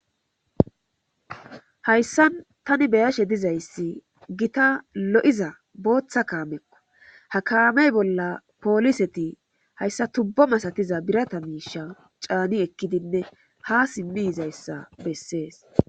Hayssan tani be7ashe dizayssi keehi lo7iza bootha kaamekko ha kaame bolla pooliseti hayssa tubbo masatiza birata miisha caani ekkidinne haa simmi yizayssa bessees.